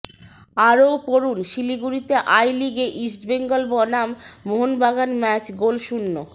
আরও পড়ুন শিলিগুড়িতে আই লিগে ইস্টবেঙ্গল বনাম মোহনবাগান ম্যাচ গোলশূন্য